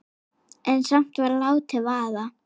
En samt var látið vaða.